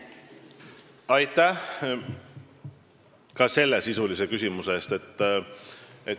Aitäh ka selle sisulise küsimuse eest!